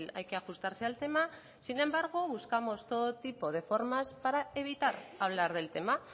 hay que ajustarse al tema sin embargo buscamos todo tipo de formas para evitar hablar del tema